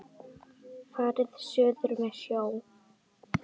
Farið suður með sjó.